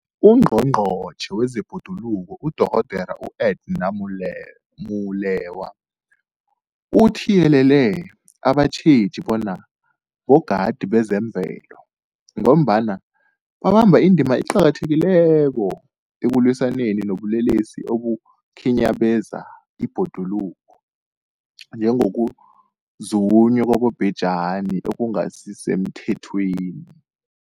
UNgqongqotjhe wezeBhoduluko uDorh Edna Molewa uthiyelele abatjheji bona bogadi bezemvelo, ngombana babamba indima eqakathekileko ekulwisaneni nobulelesi obukhinyabeza ibhoduluko, njengokuzunywa kwabobhejani okungasisemthethweni.